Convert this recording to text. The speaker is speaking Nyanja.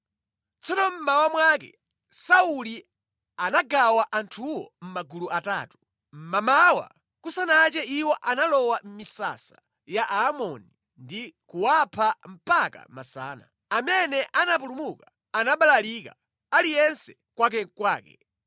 Tsono mmawa mwake Sauli anagawa anthuwo mʼmagulu atatu. Mmamawa kusanache iwo analowa mʼmisasa ya Aamoni ndi kuwapha mpaka masana. Amene anapulumuka anabalalika, aliyense kwakekwake.